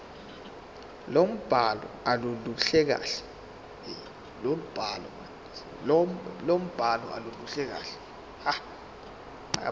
lombhalo aluluhle kahle